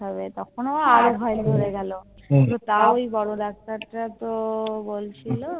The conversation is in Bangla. তখন ও আরো ভয় ধরে গেলো কিন্তু তাও ওই বড় হুম Doctor টা তো বলছিলো